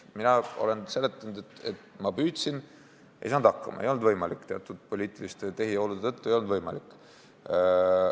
Mina olen seletanud, et ma püüdsin, ei saanud hakkama, ei olnud võimalik, teatud poliitiliste tehiolude tõttu ei olnud võimalik.